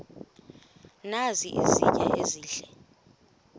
nazi izitya ezihle